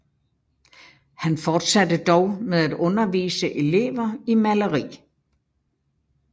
Han fortsatte dog med at undervise elever i maleri